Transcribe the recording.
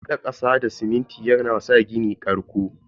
Hada kasa da siminti yana sa gini karƙo.